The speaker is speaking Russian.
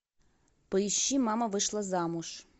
поищи мама вышла замуж